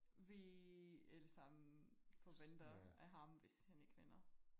vi alle sammen forventer af ham hvis han ikke vinder